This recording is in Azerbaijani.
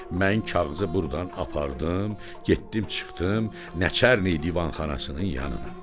Mən kağızı burdan apardım, getdim çıxdım Nəçərni divanxanasının yanına.